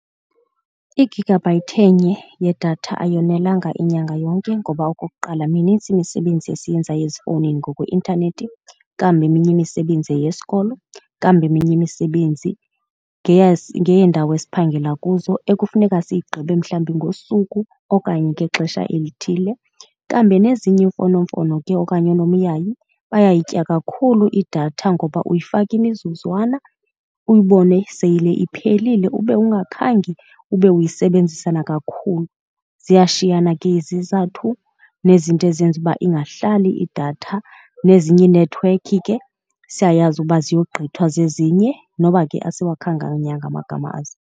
I-gigabyte enye yedatha ayonelanga inyanga yonke ngoba okokuqala, minintsi imisebenzi esiyenzayo ezifowunini ngokweintanethi. Kambi eminye imisebenzi yeyesikolo, kambi eminye imisebenzi ngeyeendawo esiphangela kuzo ekufuneka siyigqibe mhlawumbi ngosuku okanye ngexesha elithile. Kambi nezinye iimfonomfono ke okanye unomyayi bayayitya kakhulu idatha ngoba uyifaka imizuzwana, uyibone sele iphelile ube ungakhange ube uyisebenzise nakakhulu. Ziyashiyana ke izizathu nezinto ezenza uba ingahlali idatha nezinye iinethiwekhi ke siyayazi uba ziyogqithwa zezinye noba ke asiwakhankanyanga amagama azo.